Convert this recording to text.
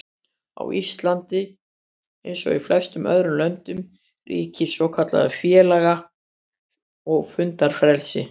Á Íslandi, eins og í flestum öðrum löndum, ríkir svokallað félaga- og fundafrelsi.